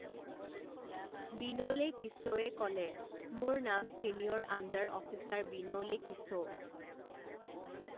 বিনোলে কিসৌয়ে ক'লে মোৰ নাম ছিনিয়ৰ আণ্ডাৰ অফিচাৰ বিনোলে কিসৌ।